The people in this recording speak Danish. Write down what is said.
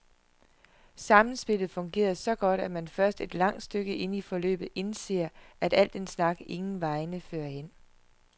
Samspillet fungerer så godt, at man først et langt stykke inde i forløbet indser, at al den snak ingen vegne fører hen.